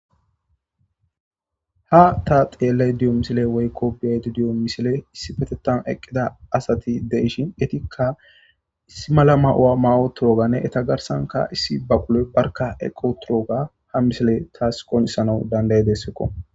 Ha ta xeelle diyo misile woykko biyaydi diyo misile issi petetan eqqida asati de ishin etikka issi mala ma'o'a ma'o turoganne eta garsanka issi ba quloy barka eqqo turooga ha misile taas qonisana dandaye dessekko.